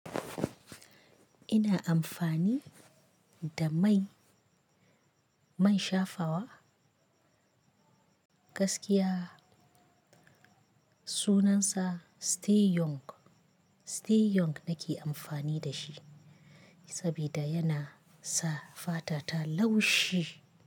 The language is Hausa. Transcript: Ina amfani da mai, man shafawa, gaskiya sunansa Stay young, stay young nake amfani da shi saboda yana sa fata ta laushi.